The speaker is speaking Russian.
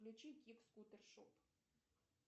включи кик скутер шоп